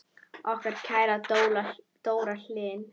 Okkar kæra Dóra Hlín.